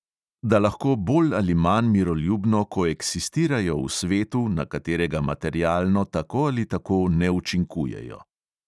Da lahko bolj ali manj miroljubno koeksistirajo v svetu, na katerega materialno tako ali tako ne učinkujejo.